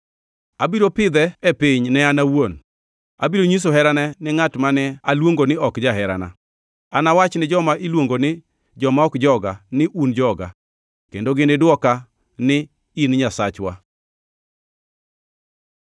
Abiro pidhe e piny ne an awuon; abiro nyiso herana ni ngʼat mane aluongo ni ‘Ok jaherana.’ Anawach ni joma iluongo ni, ‘Joma ok joga,’ ni, ‘Un joga’; kendo ginidwoka ni, ‘In Nyasachwa.’ ”